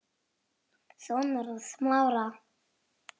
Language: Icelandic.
Sonur hans Smára.